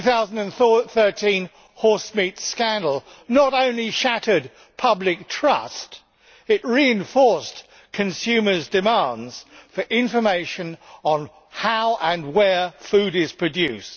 The 2013 horsemeat scandal not only shattered public trust, it reinforced consumers' demands for information on how and where food is produced.